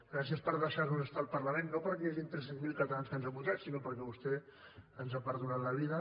gràcies per deixar nos estar al parlament no perquè hi hagin tres cents miler catalans que ens han votat sinó perquè vostè ens ha perdonat la vida